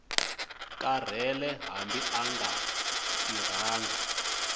karhele hambi a nga tirhangi